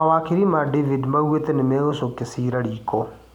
Mawakiri a David maugĩte nĩmegũcokia ciira riko